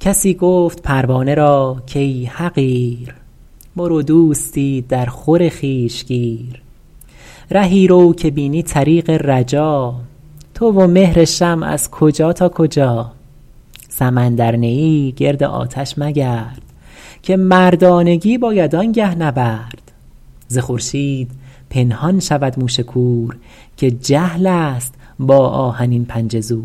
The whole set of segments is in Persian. کسی گفت پروانه را کای حقیر برو دوستی در خور خویش گیر رهی رو که بینی طریق رجا تو و مهر شمع از کجا تا کجا سمندر نه ای گرد آتش مگرد که مردانگی باید آنگه نبرد ز خورشید پنهان شود موش کور که جهل است با آهنین پنجه زور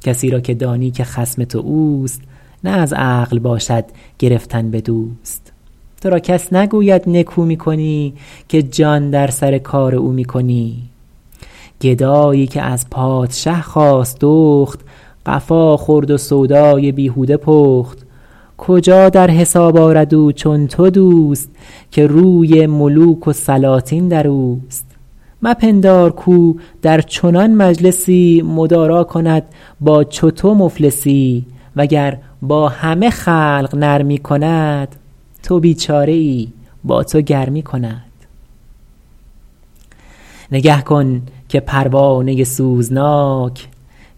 کسی را که دانی که خصم تو اوست نه از عقل باشد گرفتن به دوست تو را کس نگوید نکو می کنی که جان در سر کار او می کنی گدایی که از پادشه خواست دخت قفا خورد و سودای بیهوده پخت کجا در حساب آرد او چون تو دوست که روی ملوک و سلاطین در اوست مپندار کاو در چنان مجلسی مدارا کند با چو تو مفلسی وگر با همه خلق نرمی کند تو بیچاره ای با تو گرمی کند نگه کن که پروانه سوزناک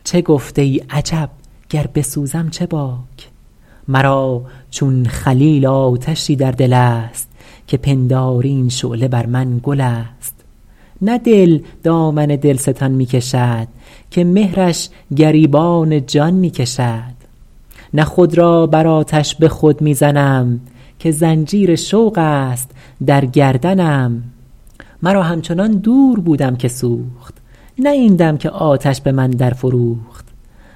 چه گفت ای عجب گر بسوزم چه باک مرا چون خلیل آتشی در دل است که پنداری این شعله بر من گل است نه دل دامن دلستان می کشد که مهرش گریبان جان می کشد نه خود را بر آتش به خود می زنم که زنجیر شوق است در گردنم مرا همچنان دور بودم که سوخت نه این دم که آتش به من در فروخت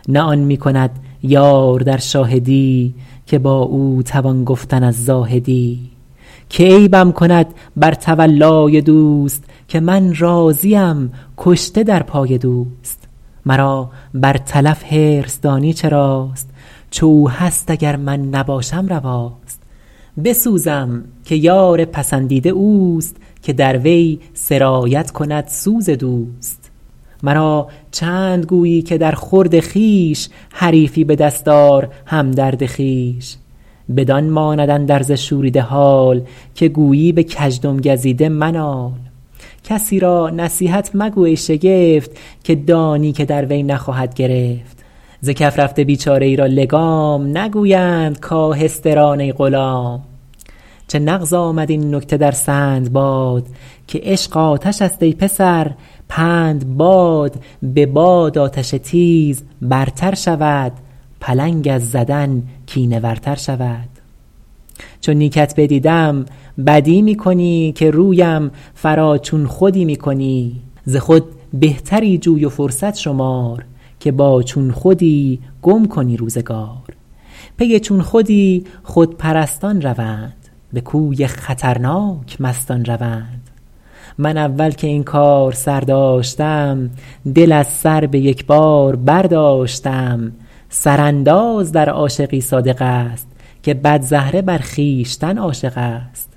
نه آن می کند یار در شاهدی که با او توان گفتن از زاهدی که عیبم کند بر تولای دوست که من راضیم کشته در پای دوست مرا بر تلف حرص دانی چراست چو او هست اگر من نباشم رواست بسوزم که یار پسندیده اوست که در وی سرایت کند سوز دوست مرا چند گویی که در خورد خویش حریفی به دست آر همدرد خویش بدان ماند اندرز شوریده حال که گویی به کژدم گزیده منال کسی را نصیحت مگو ای شگفت که دانی که در وی نخواهد گرفت ز کف رفته بیچاره ای را لگام نگویند کآهسته ران ای غلام چه نغز آمد این نکته در سندباد که عشق آتش است ای پسر پند باد به باد آتش تیز برتر شود پلنگ از زدن کینه ور تر شود چو نیکت بدیدم بدی می کنی که رویم فرا چون خودی می کنی ز خود بهتری جوی و فرصت شمار که با چون خودی گم کنی روزگار پی چون خودی خودپرستان روند به کوی خطرناک مستان روند من اول که این کار سر داشتم دل از سر به یک بار برداشتم سر انداز در عاشقی صادق است که بدزهره بر خویشتن عاشق است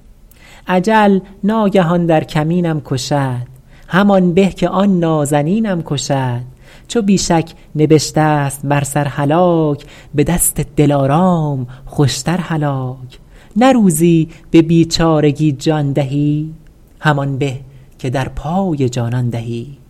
اجل ناگهی در کمینم کشد همان به که آن نازنینم کشد چو بی شک نبشته ست بر سر هلاک به دست دلارام خوشتر هلاک نه روزی به بیچارگی جان دهی همان به که در پای جانان دهی